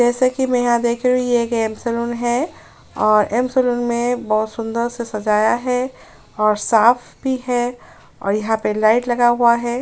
जैसाकि मैं यहाँ देख रही हूँ ये सलून है और सलून में बहोत सुंदर से सजाया है और साफ भी है और यहाँ पे लाइट लगा हुआ है।